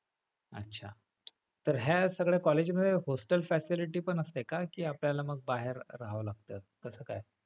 अच्छा, तर ह्या सगळ्या college मध्ये hostel facility पण असते का कि आपल्याला मग बाहेर रहावं लागत? कस काय?